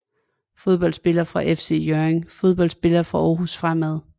Fodboldspillere fra FC Hjørring Fodboldspillere fra Aarhus Fremad